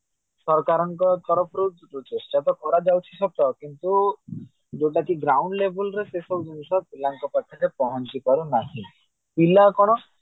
ସରକାରଙ୍କ ତରଫରୁ ଚେଷ୍ଟାତ କର ଯାଉଛି ସତ କିନ୍ତୁ ଯୋଉଟା କି ground level ର ସେଶ ମୁହୂର୍ତ ପିଲାଙ୍କ ପାଖରେ ପହଞ୍ଚିପାରୁ ନାହିଁ ପିଲା କଣ